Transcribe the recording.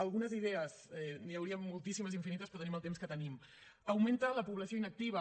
algunes idees n’hi haurien moltíssimes infinites però tenim el temps que tenim augmenta la població inactiva